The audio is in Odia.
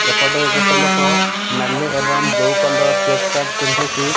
ଏପଟେ ଗୋଟେ ଲୋକ ନାଲି ଏବଂ ବ୍ଲୁ କଲର୍ ଚେକ୍ ସାର୍ଟ ପିନ୍ଧିକି।